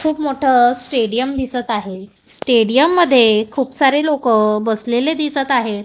खुप मोठं स्टेडियम दिसत आहे स्टेडियम मध्ये खूप सारे लोकं बसलेले दिसत आहेत.